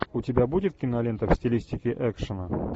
у тебя будет кинолента в стилистике экшена